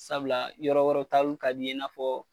Sabula yɔrɔ wɛrɛw taaliw ka di n ye i n'a fɔ